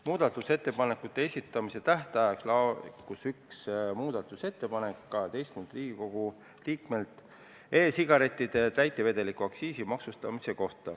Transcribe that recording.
Muudatusettepanekute esitamise tähtajaks laekus üks muudatusettepanek 12-lt Riigikogu liikmelt ning see puudutas e-sigarettide ja täitevedelike aktsiisiga maksustamist.